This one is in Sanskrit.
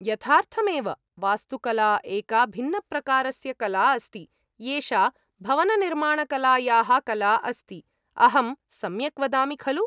यथार्थमेव! वास्तुकला एका भिन्नप्रकारस्य कला अस्ति; एषा भवननिर्माणकलायाः कला अस्ति। अहं सम्यक् वदामि खलु?